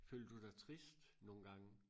Føler du dig trist nogengange?